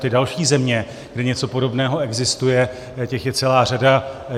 Ty další země, kde něco podobného existuje, těch je celá řada.